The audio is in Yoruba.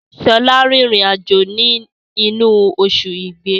Sọlá n rin ìrìn àjò ni inu osù igbe